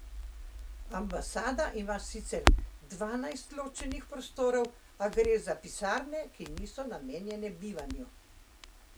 Ambasada ima sicer dvanajst ločenih prostorov, a gre za pisarne, ki niso namenjene bivanju.